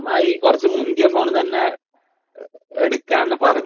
അമ്മായി കുറച്ചു മുന്തിയ ഫോൺ തന്നെ എടുക്കാം എന്നു പറഞ്ഞു